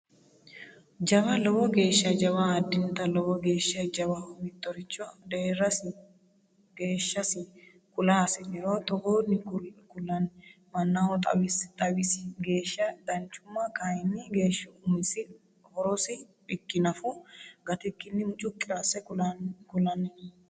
Jawa, lowo geeshsha jawa, addinta lowo geeshsha jawaho mittoricho deerasi geeshshasi kula hasi'niro togooni ku'lanni mannaho xawasi geeshsha danchuma kayinni geeshshu umisi horosi bikki nafu gatikkinni mucuqi asse ku'lanni no.